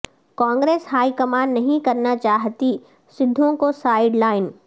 Congress high command نہیں کرنا چاہتی سدھو کو سائیڈ لائن